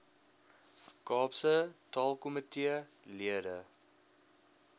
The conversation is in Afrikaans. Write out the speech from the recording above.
kaapse taalkomitee lede